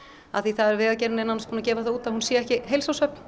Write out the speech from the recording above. af því að Vegagerðin er nánast búin að gefa það út að hún sé ekki heilsárshöfn